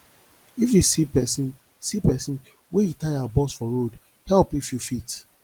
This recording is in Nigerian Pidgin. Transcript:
if you see pesin see pesin wey e tire burst for road help if you fit